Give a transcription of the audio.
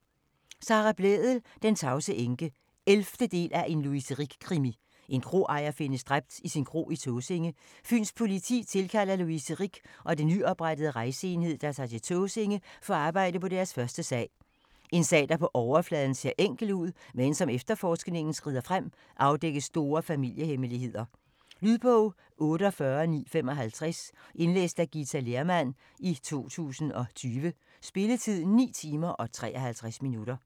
Blædel, Sara: Den tavse enke 11. del af En Louise Rick-krimi. En kroejer findes dræbt i sin kro på Tåsinge. Fyns Politi tilkalder Louise Rick og den nyoprettede rejseenhed, der tager til Tåsinge for at arbejde på deres første sag. En sag, der på overfladen ser enkel ud, men som efterforskningen skrider frem afdækkes store familie-hemmeligheder. Lydbog 48955 Indlæst af Githa Lehrmann, 2020. Spilletid: 9 timer, 53 minutter.